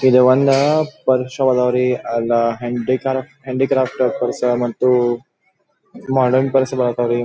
ಇದು one purse ಅದಾವ್ ರೀ ಅಲ್ಲಾ ಹ್ಯಾಂಡಿ ಕಾರ್ಫ್ಟ್ ಪರ್ಸ್ ಹಾಗತವ ಪರ್ಸ್ ಮತ್ತು ಮಾಡ್ರನ್ ಪರ್ಸ್ಗಳು ಅದಾವ್ ರೀ.